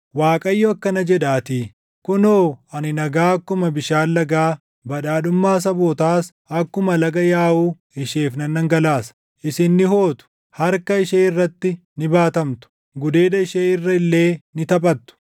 Waaqayyo akkana jedhaatii: “Kunoo ani nagaa akkuma bishaan lagaa, badhaadhummaa sabootaas akkuma laga yaaʼuu // isheef nan dhangalaasa; isin ni hootu; harka ishee irratti ni baatamtu; gudeeda ishee irra illee ni taphattu.